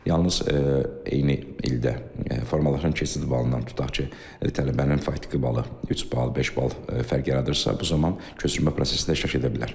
Yalnız eyni ildə formalaşan keçid balından, tutaq ki, tələbənin faktiki balı üç bal, beş bal fərq yaradırsa, bu zaman köçürmə prosesində iştirak edə bilər.